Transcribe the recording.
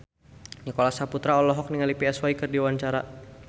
Nicholas Saputra olohok ningali Psy keur diwawancara